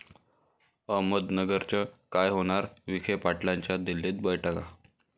अहमदनगरचं काय होणार? विखे पाटलांच्या दिल्लीत बैठका